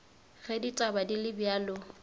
ge ditaba di le bjalo